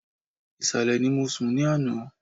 Ìsàlẹ̀ ni mo sùn ní àná